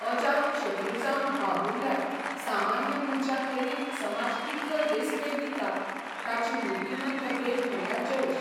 अजात शत्रू जावन बाबुरल्यार सामान्य मनशाक लेगीत समाज कितलो रेस्पेद दिता ताची मुर्तिमंत देख म्हणल्यार जयेश.